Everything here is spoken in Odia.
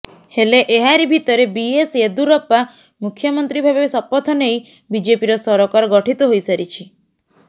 ହେଲେ ଏହାରି ଭିତରେ ବିଏସ୍ ୟେଦୁରପ୍ପା ମୁଖ୍ୟମନ୍ତ୍ରୀ ଭାବେ ଶପଥ ନେଇ ବିଜେପିର ସରକାର ଗଠିତ ହୋଇସାରିଛି